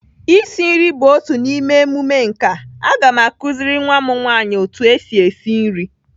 Isi nri bụ otu n'ime emume nkà. Aga m akụziri nwa m nwaanyị otu esi esi nri.